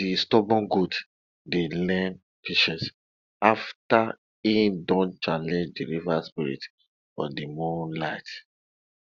de stubborn goat dey learn patience after e don challenge de river spirit for de moonlight